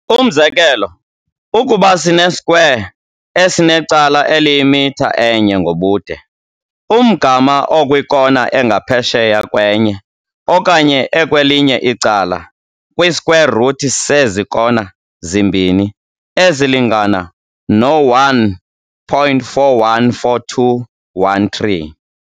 Umzekelo, ukuba sine-square esinecala eliyimitha enye ngobude, umgama okwiikona engaphesheya kwenye okanye ekwelinye icala, kwi-square-root sezi kona zimbini, ezilingana no-1.414213.